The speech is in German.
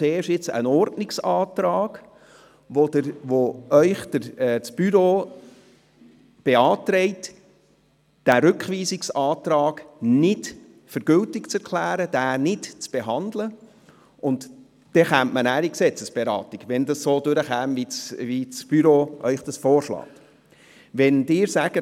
Zuerst käme der Ordnungsantrag, mit dem Ihnen das Büro beantragt, diesen Rückweisungsantrag nicht für gültig zu erklären, ihn nicht zu behandeln, und dann käme man nachher zur Gesetzesberatung, falls Sie beim Ordnungsantrag dem Vorschlag des Büros folgen.